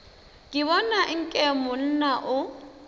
ke bona nke monna o